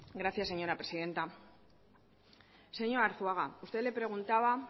gracias señora presidenta señor arzuaga usted le preguntaba